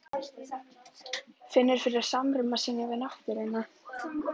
Finnur fyrir samruna sínum við náttúruna.